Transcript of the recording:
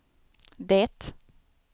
det